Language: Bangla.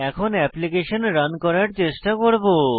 এখন অ্যাপ্লিকেশন রান করার চেষ্টা করব